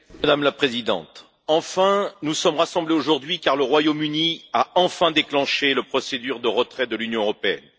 Madame la Présidente, enfin, nous sommes rassemblés aujourd'hui car le Royaume Uni a finalement déclenché la procédure de retrait de l'Union européenne.